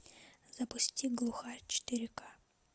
запусти глухарь четыре ка